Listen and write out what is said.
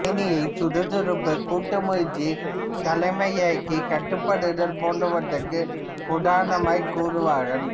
தேனீயைச் சுறுசுறுப்பு கூட்டு முயற்சி தலைமைக்குக் கட்டுப்படுதல் போன்றவற்றிற்கு உதாரணமாய்க் கூறுவார்கள்